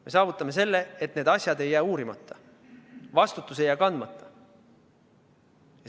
Me saavutame selle, et need asjad ei jää uurimata, vastutus ei jää kandmata.